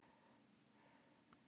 Fjólar, lækkaðu í hátalaranum.